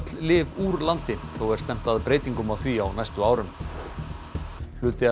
lyf úr landi þó er stefnt að breytingum á því á næstu árum hluti af